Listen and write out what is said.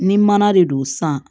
Ni mana de don san